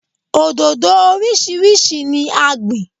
Òdòdó orísìírísìí ni a gbìn.